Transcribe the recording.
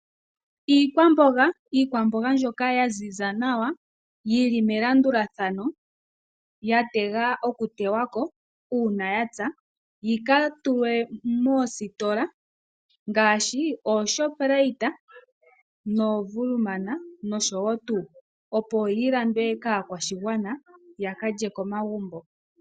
Iikwamboga mbyoka ya ziza nawa yili melandulathano ya tegwa okutewako uuna ya pya yi ka tulwe moositola ngaashi oShoprite noWoermann Block nosho tuu opo yi landwe kaakwashigwana ya kalye komagumbo.